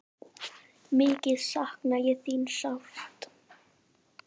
Mikið sakna ég þín sárt.